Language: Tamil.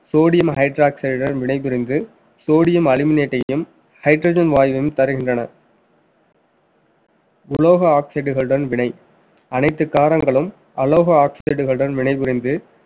sodium hydroxide டன் வினைபுரிந்து sodium aluminate டையும் hydrogen வாயுவையும் தருகின்றன உலோக oxide களுடன் வினை அனைத்து காரங்களும் allo oxide களுடன் வினைபுரிந்து